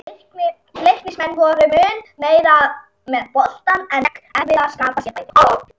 Leiknismenn voru mun meira með boltann en gekk erfiðlega að skapa sér færi.